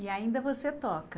E ainda você toca.